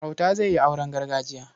Auta zai yi auren gargajiya.